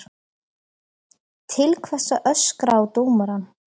Til hvers að öskra á dómarann?